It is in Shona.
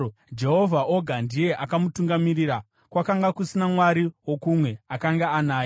Jehovha oga ndiye akamutungamirira; kwakanga kusina mwari wokumwe akanga anaye.